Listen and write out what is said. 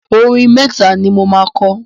Orin mẹ́ta ni mo máa kọ.